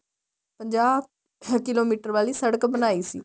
ਪੰਜਾਹ ਕਿਲੋਮੀਟਰ ਵਾਲੀ ਸੜਕ ਬਣਾਈ ਸੀ